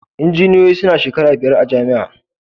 injiniyoyi sunayin shekara biyar a jamia